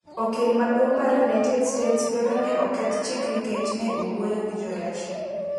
okil maduong mar United States dwaro ni oketh chik nikech ne owuoyo gi Jo Russia